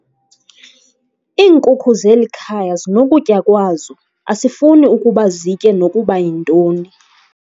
Iinkuku zeli khaya zinokutya kwazo asifuni ukuba zitye nokuba yintoni.